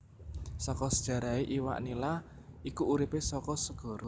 Saka sejarahé iwak Nila iku uripé saka segara